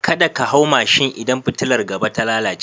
Kada ka hau mashin idan fitilar gaba ta lalace.